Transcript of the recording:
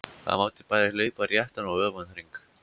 Það mátti bæði hlaupa réttan og öfugan hring.